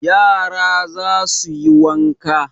Yara za su yi wanka